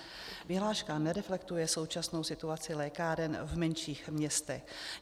Vyhláška nereflektuje současnou situaci lékáren v menších městech.